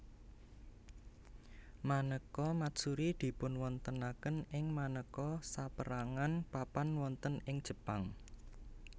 Manéka matsuri dipunwontenaken ing manéka sapérangan papan wonten ing Jepang